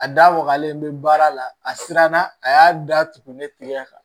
A da wagalen bɛ baara la a siranna a y'a da tugun ne tigɛ kan